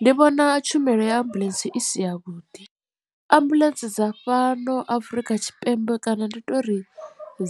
Ndi vhona tshumelo ya ambuḽentse i si ya vhuḓi ambuḽentse dza fhano afrika tshipembe kana ndi tori